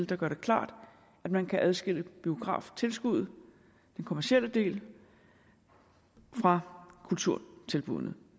den gør det klart at man kan adskille biograftilskuddet den kommercielle del fra kulturtilbuddene